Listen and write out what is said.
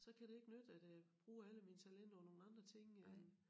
Så kan det ikke nytte at øh bruge alle mine talenter på nogle andre ting øh